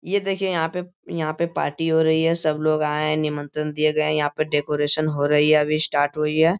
ये देखिए यहाँ पे यहाँ पे पार्टी हो रही है सब लोग आए हैं निमंत्रण दिए गए हैं यहाँ पे डेकोरेशन हो रही है अभी स्टार्ट हुई है।